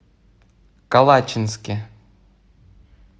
калачинске